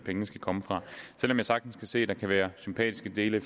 skal komme fra selv om jeg sagtens kan se at der kan være sympatiske dele i